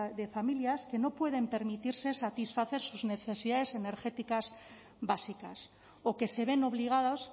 de familias que no pueden permitirse satisfacer sus necesidades energéticas básicas o que se ven obligados